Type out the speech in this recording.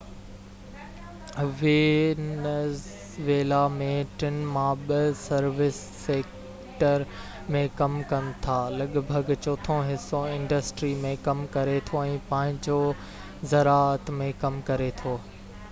Venezuela ۾ ٽن مان ٻہ سروس سيڪٽر ۾ ڪم ڪن ٿا لڳ ڀڳ چوٿون حصو انڊسٽري ۾ ڪم ڪري ٿو ۽ پنجون زراعت ۾ ڪم ڪري ٿو